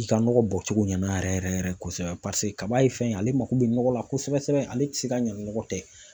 i ka nɔgɔ bɔcogo ɲɛna yɛrɛ yɛrɛ yɛrɛ yɛrɛ yɛrɛ kosɛbɛ paseke kaba ye fɛn ye ale mako bɛ nɔgɔ la kosɛbɛ ale tɛ se ka ɲa nɔgɔ tɛ.